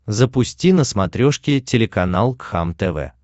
запусти на смотрешке телеканал кхлм тв